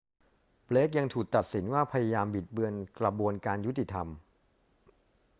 เบลกยังถูกตัดสินว่าพยายามบิดเบือนกระบวนการยุติธรรม